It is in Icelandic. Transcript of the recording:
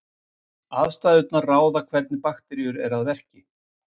Aðstæðurnar ráða hvernig bakteríur eru að verki.